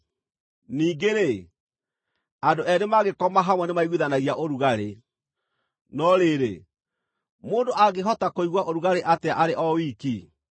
Ningĩ-rĩ, andũ eerĩ mangĩkoma hamwe nĩmaiguithanagia ũrugarĩ. No rĩrĩ, mũndũ angĩhota kũigua ũrugarĩ atĩa arĩ o wiki?